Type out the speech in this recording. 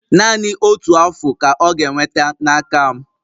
Naanị otu Afụ ka ọ ga-enweta n'aka m